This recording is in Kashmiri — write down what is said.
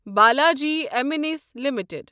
Balaji amines limited